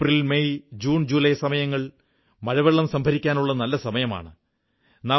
April May June July സമയങ്ങൾ മഴവെള്ളം സംഭരിക്കാനുള്ള നല്ല സമയമാണ്